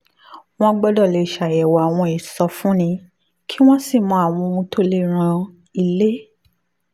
wọ́n gbọ́dọ̀ lè ṣàyẹ̀wò àwọn ìsọfúnni kí wọ́n sì mọ àwọn ohun tó lè ran ilé